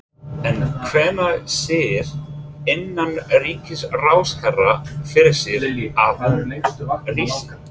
En hvenær sér innanríkisráðherra fyrir sér að hún rísi?